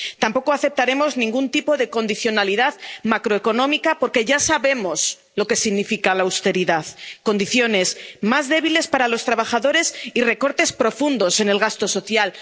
Tampoco aceptaremos ningún tipo de condicionalidad macroeconómica, porque ya sabemos lo que significa la austeridad condiciones más débiles para los trabajadores y recortes profundos en el gasto social.